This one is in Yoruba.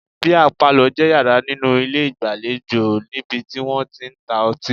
Bíà palọ̀ jẹ́ yàrá nínú ilé ìgbàlejò níbi tí wọ́n tí ń ta ọtí